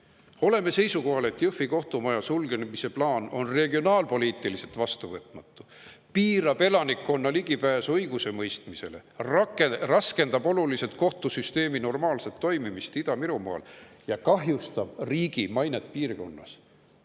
seisukohal, et Jõhvi kohtumaja sulgemise plaan on regionaalpoliitiliselt vastuvõtmatu, piirab elanikkonna ligipääsu õigusemõistmisele, raskendab oluliselt kohtusüsteemi normaalset toimimist Ida-Virumaal ja kahjustab riigi mainet piirkonnas.